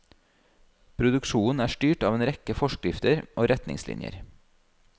Produksjonen er styrt av en rekke forskrifter og retningslinjer.